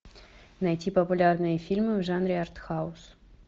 найти популярные фильмы в жанре артхаус